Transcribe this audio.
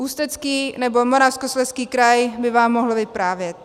Ústecký nebo Moravskoslezský kraj by vám mohl vyprávět.